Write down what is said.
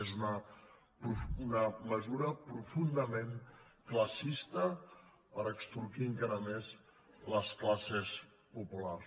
és una mesura profundament classista per extorquir encara més les classes populars